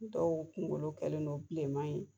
Ni dɔw kunkolo kɛlen don bilenman ye